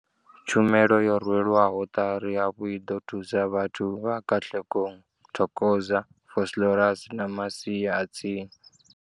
Tshumelo yo rwelwaho ṱari hafhu i ḓo thusa vhathu vha Katlehong, Thokoza, Vosloorus na masia a tsini.